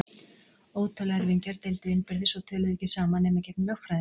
Ótal erfingjar deildu innbyrðis og töluðu ekki saman nema í gegnum lögfræðinga.